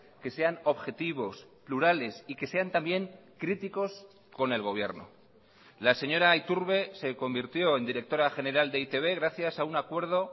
que sean objetivos plurales y que sean también críticos con el gobierno la señora iturbe se convirtió en directora general de e i te be gracias a un acuerdo